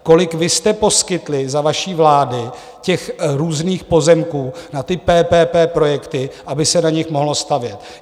Kolik vy jste poskytli za vaší vlády těch různých pozemků na ty PPP projekty, aby se na nich mohlo stavět?